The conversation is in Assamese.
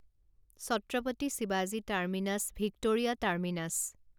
ছত্ৰপতি শিৱাজী টাৰ্মিনাছ ভিক্টোৰিয়া টাৰ্মিনাছ